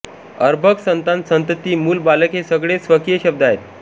अर्भक संतान संतती मूल बालक हे सगळे स्वकीय शब्द आहेत